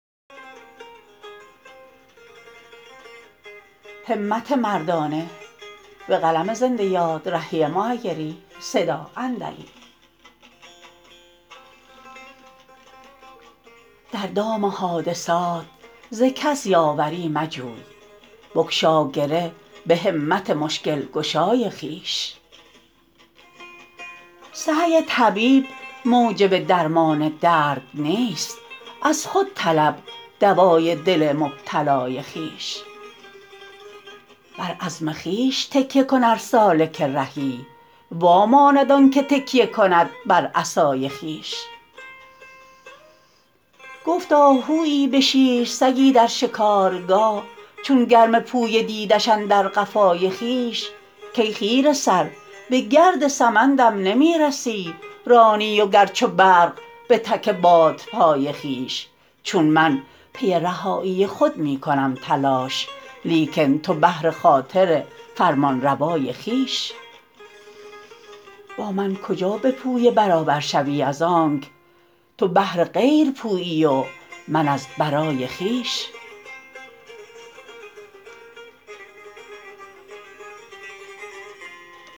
در دام حادثات ز کس یاوری مجوی بگشا گره به همت مشکل گشای خویش سعی طبیب موجب درمان درد نیست از خود طلب دوای دل مبتلای خویش بر عزم خویش تکیه کن ار سالک رهی واماند آن که تکیه کند بر عصای خویش گفت آهویی به شیر سگی در شکارگاه چون گرم پویه دیدش اندر قفای خویش کای خیره سر به گرد سمندم نمی رسی رانی و گر چو برق به تک بادپای خویش چون من پی رهایی خود می کنم تلاش لیکن تو بهر خاطر فرمانروای خویش با من کجا به پویه برابر شوی از آنک تو بهر غیر پویی و من از برای خویش